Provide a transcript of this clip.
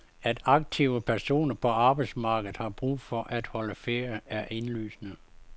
At aktive personer på arbejdsmarkedet har brug for at holde ferie, er indlysende.